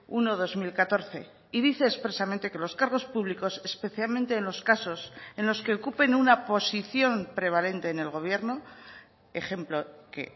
uno barra dos mil catorce y dice expresamente que los cargos públicos especialmente en los casos en los que ocupen una posición prevalente en el gobierno ejemplo que